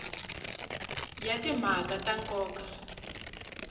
ya timhaka ta nkoka a